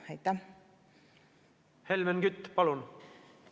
Helmen Kütt, palun!